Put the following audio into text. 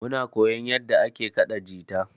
Muna koyan yanda ake kaɗa jita.